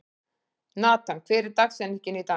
Natan, hver er dagsetningin í dag?